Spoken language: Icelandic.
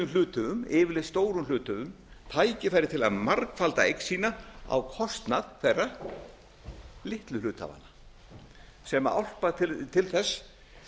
hluthöfum yfirleitt stórum hluthöfum tækifæri til að margfalda eign sína á kostnað hverra litlu hluthafanna sem álpast til þess